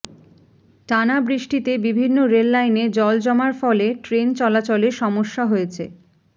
টানা বৃষ্টিতে বিভিন্ন রেল লাইনে জল জমার ফলে ট্রেন চলাচলে সমস্যা হয়েছে